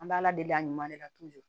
An bɛ ala deli a ɲuman de ka